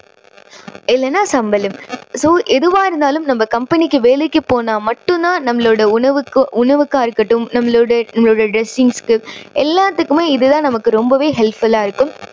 இல்லேன்னா சம்பளம். so ஏதுவா இருந்தாலும் நம்ம company க்கு வேலைக்கு போனா மட்டும் தான் நம்மளோட உணவுக்கோ~உணவுக்கா இருக்கட்டும், நம்பளோட நம்பளோட dressings க்கு எல்லாத்துக்குமே இது தான் நமக்கு ரொம்பவே helpful லா இருக்கும்.